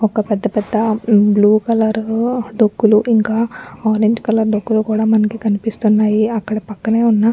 ఒక్క పెద్ద పెద్ద బ్లూ కలర్ లో డొక్కులు ఇంకా ఆరంజ్ కలర్ డొక్కులు కూడా మనకి కనిపిస్తునాయి. అక్కడ పక్కనే ఉన్న --